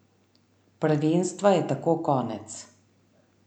Prvenstva je tako konec.